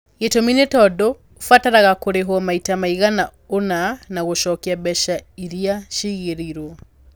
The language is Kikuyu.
Gĩtũmi nĩ tondũ nĩ ũbataraga kũrĩhwo maita maigana ũna na gũcokia mbeca iria ciigĩirũo.